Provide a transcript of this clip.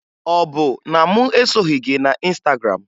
Ọ bụ na mụ esoghi gị na Ịnstagram?